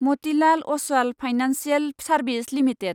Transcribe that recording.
Motilal Oswal financial service limited